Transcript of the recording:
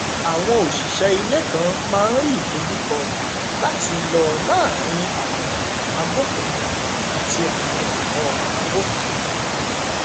àwọn òṣìṣẹ ilé kan máa n rí ìdojúkọ láti lọ láàrin ààbò abófinmu àti àwọn ẹtọ abófinmu